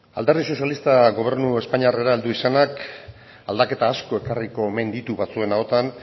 alderdi sozialistak gobernu espainiarrera heldu izanak aldaketa asko ekarriko omen ditu batzuen ahoetan